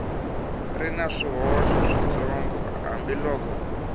ri na swihoxo switsongo hambiloko